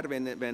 Geschäft